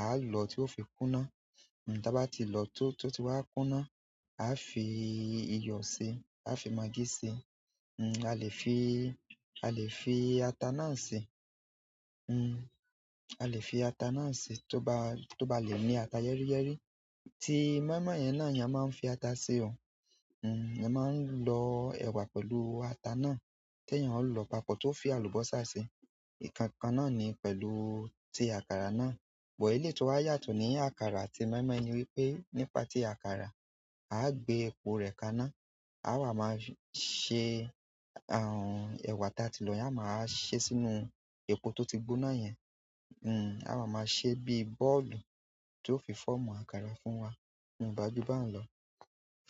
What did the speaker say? A lọ tí ó fi kúná. Hmm, ta ba wa ti lo, to o, to o ti wa kuna, a o fi iyo si, a o fi maggi si, hm, a lè fi, a lè fi ata náà si. Hm, a lè fi ata náà si tó bá, tó bá lè ní ata yẹ́ríyẹ́rí tí mọ́ímọ́í yẹn náà yẹn máa ń fi ata si o. Hm, eeyan máa ń lọ ẹ̀wà pẹ̀lú ata náà tí eeyan ó lọ papọ̀ tó fi àlùbọ́sà si. Ìkankan náà ni pẹ̀lú ti àkàrà náà. But eleyi ti o wa yàtọ̀ ni àkàrà àti moi moi ni wípé, ni pa ti àkàrà, a gbe epo re kaná, a wa ma se hnn, ewa ti àti lo yen, a wa maa se sínú epo to ti gbóná yen. Hm, a wá máa ṣe bíi bọ́ọ̀lù tí ó fi fọ́mù àkàrà fún wa n o gba ju bahun lọ.